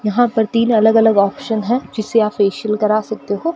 यहां पर तीन अलग अलग ऑप्शन है जिससे आप फेशियल करा सकते हो।